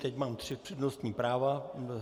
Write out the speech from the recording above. Teď mám tři přednostní práva.